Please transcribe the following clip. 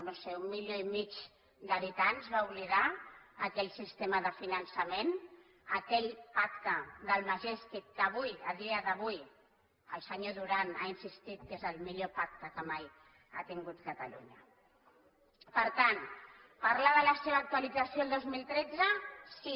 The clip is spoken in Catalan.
no ho sé un milió i mig d’habitants va oblidar aquell sistema de finançament aquell pacte del majestic que avui a dia d’avui el senyor duran ha insistit que és el millor pacte que mai ha tingut catalunya per tant parlar de la seva actualització el dos mil tretze sí